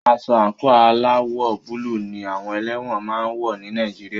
Aṣọ àńkò aláwọ̀ búlù ní àwọn ẹlẹ́wọ̀n máà ń wọ́ ní Nàìjíríà.